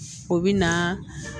O bɛ na